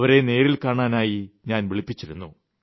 അവരെ നേരിൽ കാണാനായി ഞാൻ വിളിപ്പിച്ചിരുന്നു